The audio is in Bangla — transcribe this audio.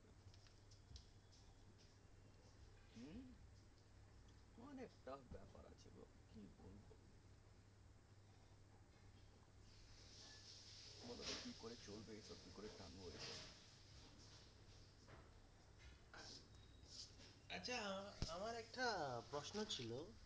আছে আমার একটা প্রশ্ন ছিল?